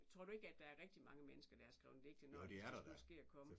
Tror du ikke at der er rigtig mange mennesker der har skrevet digte når hvis det skulle ske og komme